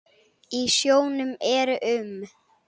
Í sjónum eru um